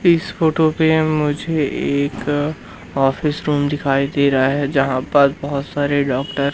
इस फोटो पे मुझे एक ऑफिस रूम दिखाई दे रहा है। जहां पर बहोत सारे डॉक्टर --